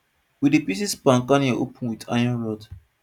we dey pieces palm kernel open with iron rods